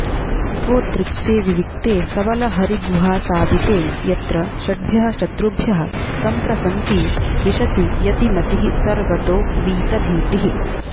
सत्त्वोद्रिक्ते विविक्ते सबलहरिगुहासादिते यत्र षड्भ्यः शत्रुभ्यः सन्त्रसन्ती विशति यतिमतिः सर्वतो वीतभीतिः